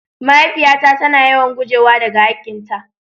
Mahaifiya na ta na yawan gujewa da ga hakin ta.